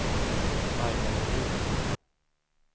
Aina Norin